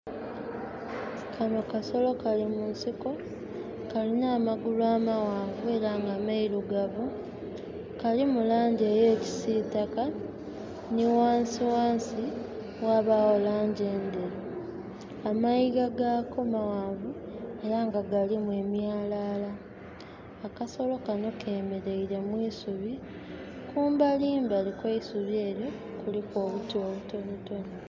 Kanho kasolo kali munsiko kalina amagulu amaghanvu era nga mairugavu kalimu langi eya kisitaka ni ghansighansi ghabawo langi endheru. Amaiga ghako maghanvu era nga galimu emyalala. Akasolo kanho kemereire mwisubi, kumbalimbali kweisubi eryo kuliku obiti obitontono.